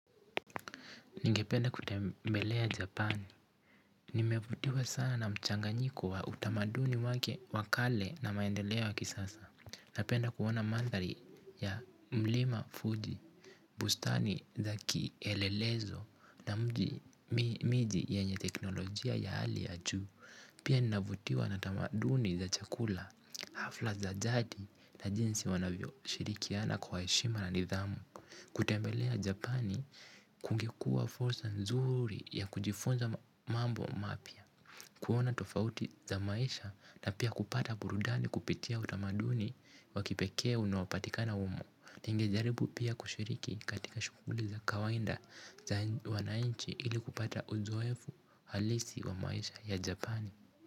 Ningependa kutembelea Japani. Nimevutiwa sana na mchanganyiko wa utamaduni wake wa kale na maendeleo ya kisasa. Napenda kuona mandhari ya mlima Fuji, bustani za kielelezo na mji miji yenye teknolojia ya hali ya juu. Pia ninavutiwa na tamaduni za chakula, hafla za jadi na jinsi wanavyo shirikiana kwa heshima na nidhamu. Kutembelea Japani kungekuwa fursa nzuri ya kujifunza mambo mapya kuona tofauti za maisha na pia kupata burudani kupitia utamaduni wa kipekee unaopatikana humo ningejaribu pia kushiriki katika shughuli za kawaida za wananchi ili kupata uzoefu halisi wa maisha ya japan.